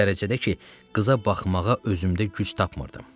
O dərəcədə ki, qıza baxmağa özümdə güc tapmırdım.